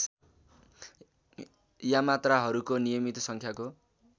यामात्राहरूको नियमित सङ्ख्याको